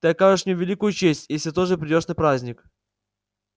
ты окажешь мне великую честь если тоже придёшь на праздник